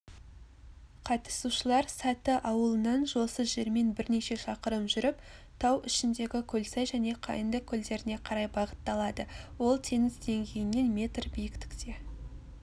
қатысушылар саты ауылынан жолсыз жермен бірнеше шақырым жүріп тау ішіндегі көлсай және қайыңды көлдеріне қарай бағытталады ол теңіз деңгейінен метр биікте